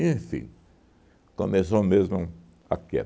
Enfim, começou mesmo a